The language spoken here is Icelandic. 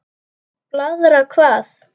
Blaðra hvað?